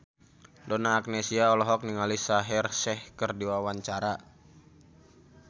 Donna Agnesia olohok ningali Shaheer Sheikh keur diwawancara